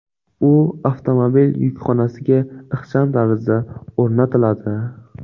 U avtomobil yukxonasiga ixcham tarzda o‘rnatiladi.